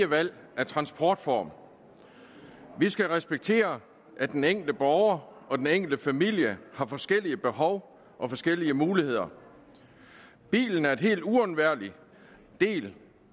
valg af transportform vi skal respektere at den enkelte borger og den enkelte familie har forskellige behov og forskellige muligheder bilen er en helt uundværlig del